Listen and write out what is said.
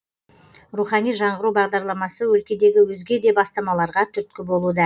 рухани жаңғыру бағдарламасы өлкедегі өзге де бастамаларға түрткі болуда